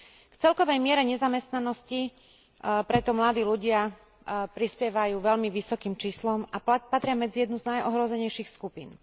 V celkovej miere nezamestnanosti preto mladí ľudia prispievajú veľmi vysokým číslom a patria medzi jednu z najohrozenejších skupín.